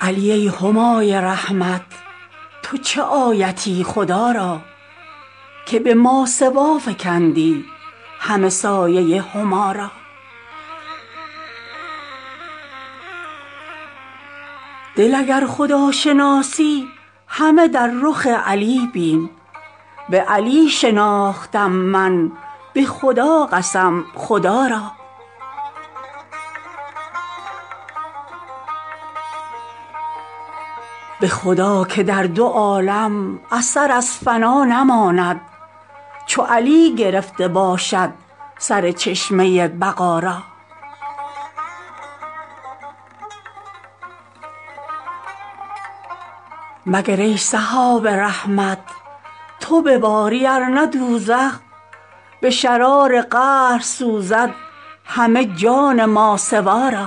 علی ای همای رحمت تو چه آیتی خدا را که به ماسوا فکندی همه سایه هما را دل اگر خداشناسی همه در رخ علی بین به علی شناختم من به خدا قسم خدا را به خدا که در دو عالم اثر از فنا نماند چو علی گرفته باشد سر چشمه بقا را مگر ای سحاب رحمت تو بباری ارنه دوزخ به شرار قهر سوزد همه جان ماسوا را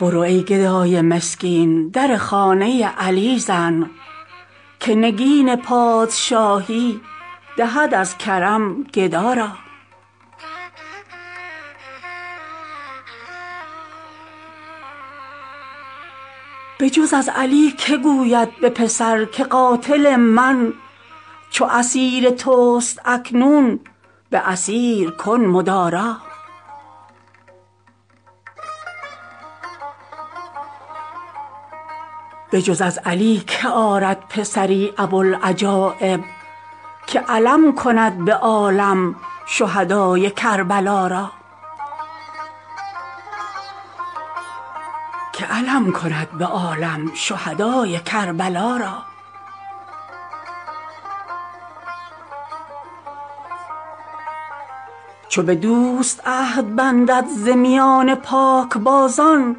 برو ای گدای مسکین در خانه علی زن که نگین پادشاهی دهد از کرم گدا را بجز از علی که گوید به پسر که قاتل من چو اسیر توست اکنون به اسیر کن مدارا بجز از علی که آرد پسری ابوالعجایب که علم کند به عالم شهدای کربلا را چو به دوست عهد بندد ز میان پاکبازان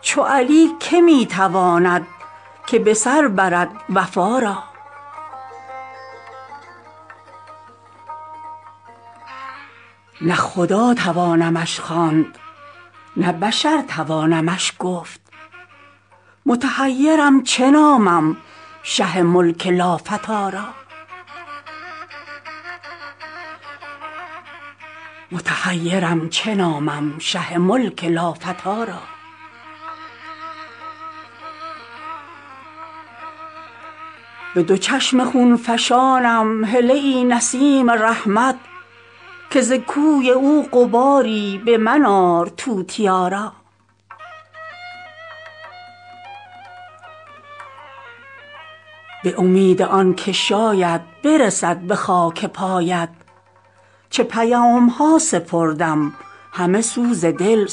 چو علی که می تواند که به سر برد وفا را نه خدا توانمش خواند نه بشر توانمش گفت متحیرم چه نامم شه ملک لافتی را به دو چشم خون فشانم هله ای نسیم رحمت که ز کوی او غباری به من آر توتیا را به امید آن که شاید برسد به خاک پایت چه پیامها سپردم همه سوز دل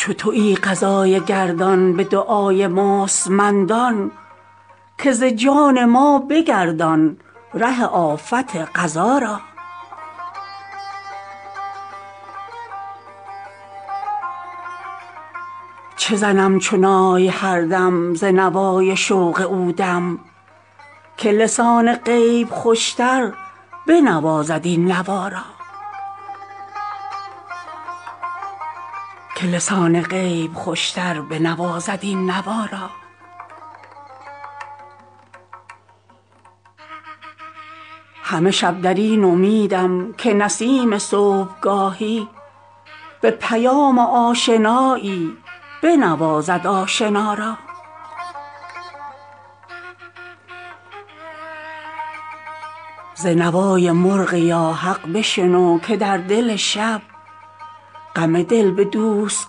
صبا را چو تویی قضای گردان به دعای مستمندان که ز جان ما بگردان ره آفت قضا را چه زنم چو نای هر دم ز نوای شوق او دم که لسان غیب خوشتر بنوازد این نوا را همه شب در این امیدم که نسیم صبحگاهی به پیام آشنایی بنوازد آشنا را ز نوای مرغ یا حق بشنو که در دل شب غم دل به دوست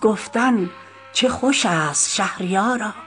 گفتن چه خوش است شهریارا